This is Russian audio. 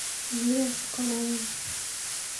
юрием соколовым